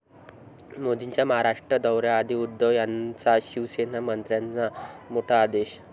मोदींच्या महाराष्ट्र दौऱ्याआधी उद्धव यांचा शिवसेना मंत्र्यांना मोठा आदेश